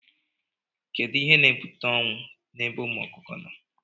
Kedụ ihe na- ebute ọnwụ na ebe ụmụ ọkụkọ nọ?